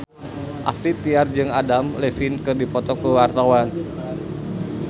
Astrid Tiar jeung Adam Levine keur dipoto ku wartawan